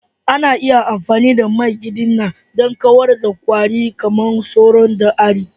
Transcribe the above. Ana iya amfani da man gadina don kawar da kwari kamar sauro da ari.